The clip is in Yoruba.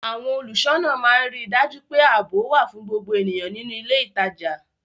Àwọn olùṣọ́nà máa ń rí dájú pé ààbò wà fún gbogbo ènìyàn nínú ilé ìtajà